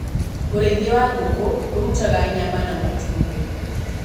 ũrĩithia wa ngũkũ ũrutaga nyama na matumbĩ.